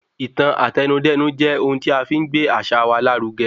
Ìtàn Àtẹnudẹ́nu jẹ́ ohun tí afi n gbé àṣà wa lárugẹ.